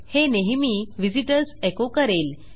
हे नेहमी visitors echo करेल